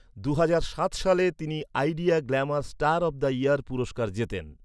দুহাজার সাত সালে তিনি Idea glamour star of the year পুরস্কার জেতেন।